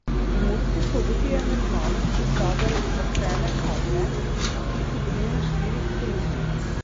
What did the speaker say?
V Murski Soboti je neznanec ukradel bakrene kable, ki so bili na štirih kolutih.